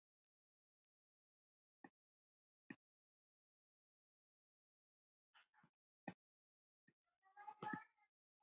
Iðunn nýr